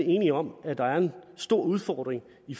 enige om at der er en stor udfordring i